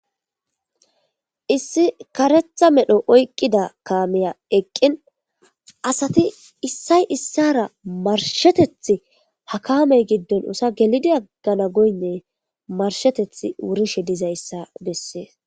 Issi karetha medho oyqqida kaameya eqqin asati issay issara marsheteth hakamey giddon usa gelidi aggana goynne marsheteth wurishe dizayssa bessees.